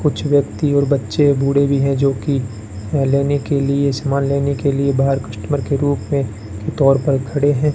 कुछ व्यक्ति और बच्चे बूढ़े भी हैं जो कि अह लेने के लिए सामान लेने के लिए बाहर कस्टमर के रूप में के तौर पर खड़े हैं।